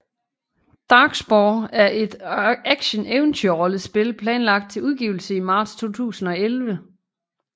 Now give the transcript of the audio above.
Darkspore er et actioneventyrrollespil planlagt til udgivelse i marts 2011